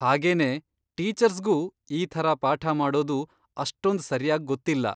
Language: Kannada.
ಹಾಗೇನೇ, ಟೀಚರ್ಸ್ಗೂ ಈ ಥರ ಪಾಠ ಮಾಡೋದು ಅಷ್ಟೊಂದ್ ಸರ್ಯಾಗ್ ಗೊತ್ತಿಲ್ಲ.